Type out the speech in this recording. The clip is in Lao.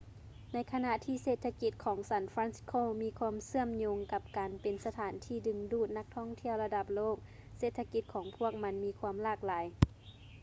ໃນຂະນະທີ່ເສດຖະກິດຂອງ san francisco ມີຄວາມເຊື່ອມໂຍງກັບການເປັນສະຖານທີ່ດຶງດູດນັກທ່ອງທ່ຽວລະດັບໂລກ ເສດຖະກິດຂອງພວກມັນມີຄວາມຫຼາກຫຼາຍ